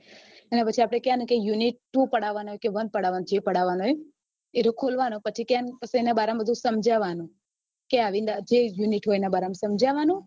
અને પછી કહીએ unit two પધાવવાનું કે one પધાવવાનું કે જે પધાવવાનું એ ખોલવાનું એના બારામાં સમજાવાનું જે unit હોય એના બારામાં સમજાવાનું